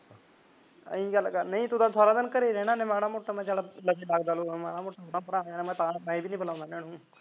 ਇਹੀ ਗੱਲ ਤੂੰ ਤਾਂ ਸਾਰਾ ਦਿਨ ਘਰੀ ਰਹਿੰਦਾ ਐ ਨਹੀੰ ਮਾੜਾ ਮੋਟਾ ਲਗਦਾ ਲੁਗਦਾ ਮਾੜਾ ਮੋਟਾ ਭਰਾ ਮੈਂ ਵੀ ਨੀ ਬਲਾਉਂਦਾ ਇਹਨਾਂ ਨੂੰ